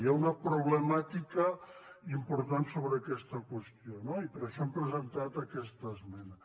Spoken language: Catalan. hi ha una problemàtica important sobre aquesta qüestió no i per això hem presentat aquesta esmena